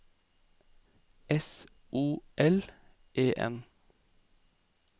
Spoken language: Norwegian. S O L E N